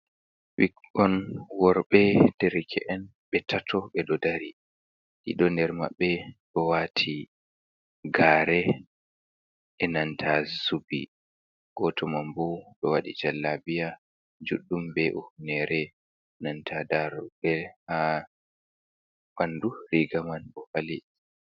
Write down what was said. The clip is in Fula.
Ɓikkon worɓe, derke’en ɓe tato, ɓe ɗo dari ɗiɗo ner maɓɓe, ɗo waati gaare e nanta zubi, gooto mambo ɗo waɗi jallabiya juɗɗum be humneere, nanta daroɗɗe haa ɓandu riga man ɗo fali.